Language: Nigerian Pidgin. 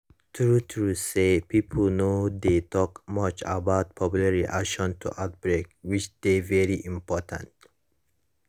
true true say pipo no dey talk much about public reaction to outbreak which dey very important